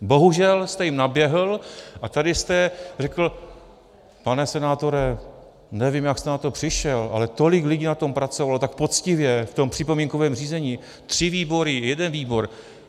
Bohužel jste jim naběhl a tady jste řekl: pane senátore, nevím, jak jste na to přišel, ale tolik lidí na tom pracovalo, tak poctivě, v tom připomínkovém řízení, tři výbory, jeden výbor.